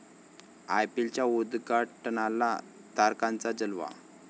आयपीएलच्या उद्घाटनाला तारकांचा जलवा